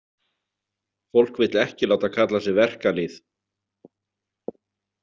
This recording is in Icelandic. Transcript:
Fólk vill ekki láta kalla sig verkalýð.